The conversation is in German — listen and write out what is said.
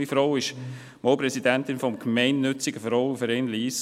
Meine Frau war einmal Präsidentin des Gemeinnützigen Frauenvereins Lyss.